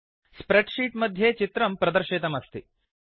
spread sheet मध्ये चित्रं प्रदर्शितमस्ति